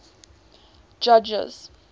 judges